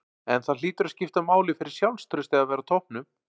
En það hlýtur að skipta máli fyrir sjálfstraustið að vera á toppnum?